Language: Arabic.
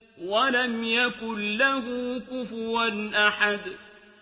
وَلَمْ يَكُن لَّهُ كُفُوًا أَحَدٌ